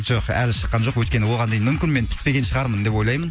жоқ әлі шыққан жоқ өйткені оған дейін мүмкін мен піспеген шығармын деп ойлаймын